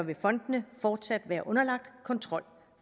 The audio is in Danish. vil fondene fortsat være underlagt kontrol